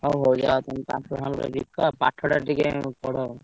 ହଉ ହଉ ଯାଅ ତମେ ପାମ୍ପଡ ଫାମ୍ପଡ ବିକ ଆଉ ପାଠଟା ଟିକେ ପଢ।